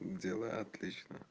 дела отлично